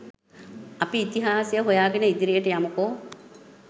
අපි ඉතිහාසය හොයාගෙන ඉදිරියට යමුකෝ.